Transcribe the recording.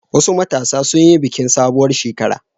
Wasu matasa sun yi bikin sabuwar shekara.